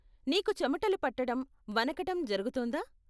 నీకు చెమటలు పట్టటం, వణకటం జరుగుతుందా?